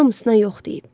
Hamısına yox deyib.